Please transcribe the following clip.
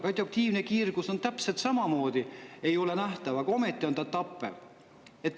Radioaktiivne kiirgus täpselt samamoodi ei ole nähtav, aga ometi on ta tappev.